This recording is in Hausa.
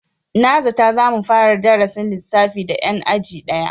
Na zata za mu fara darasin lissafi da 'yan aji daya.